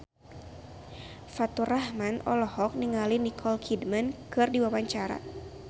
Faturrahman olohok ningali Nicole Kidman keur diwawancara